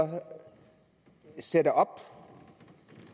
sætter op